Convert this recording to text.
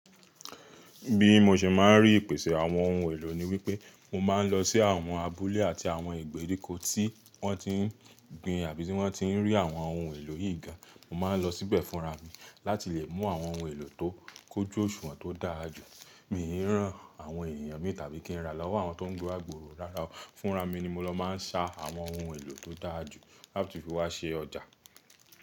Bí mo se máa ń rí ìpèsè àwọn ohun èlò ni wípé mo máa ń lọ sí àwọn abúlé àti àwọn ìgbèríko tí wọ́n ti ń gbin àbí ti wọ́n ti ń rí àwọn ohun èlò yìí gan. Mo máa ń lọ síbẹ̀ fúnra mi láti lè mú àwọn ohun èlò tó kójú òṣùwọ̀n tó dára jù. Mi rán àwọn èèyàn mi tàbí kí n ra lọ́wọ́ àwọn tó ń gbe agbòro dáradára. Fúnra mi ni mo lọ máa ń sa àwọn ohun èlò tó dára jù láti fi wá ṣe ọjà.